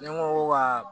Ne ko wa